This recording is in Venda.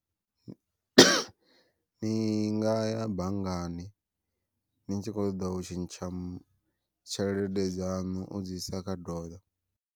Ni ngaya banngani ni tshi kho ṱoḓa u tshintsha tshelede dzaṋu u dzi isa kha doḽa.